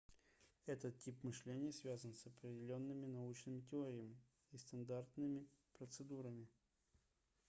этот тип мышления связан с определенными научными теориями и стандартными процедурами